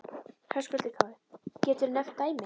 Höskuldur Kári: Geturðu nefnt dæmi?